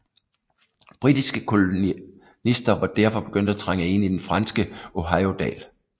Britiske kolonister var derfor begyndt at trænge ind i den franske Ohiodal